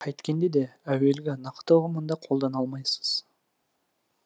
қайткенде де әуелгі нақты ұғымында қолдана алмайсыз